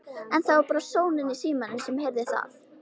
En það var bara sónninn í símanum sem heyrði það.